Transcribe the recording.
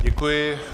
Děkuji.